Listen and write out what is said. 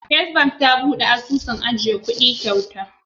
First bank tare buɗe asusun ajiya kuɗi kyauta.